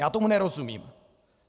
Já tomu nerozumím.